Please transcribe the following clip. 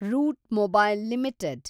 root Mobile limited